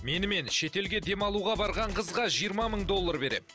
менімен шетелге демалуға барған қызға жиырма мың доллар беремін